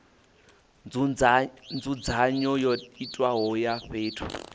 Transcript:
nzudzanyo yo itiwaho ya fhethu